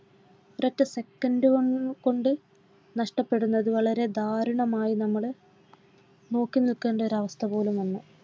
ഒരൊറ്റ second കൾ കൊണ്ട് നഷ്ടപ്പെടുന്നത് വളരെ ദാരുണമായ നമ്മൾ നോക്കി നിൽക്കേണ്ട ഒരു അവസ്ഥ പോലും വന്നു